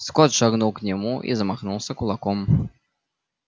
скотт шагнул к нему и замахнулся кулаком